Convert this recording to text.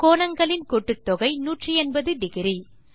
கோணங்களின் கூட்டுத்தொகை 1800